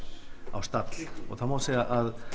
á stall það má segja að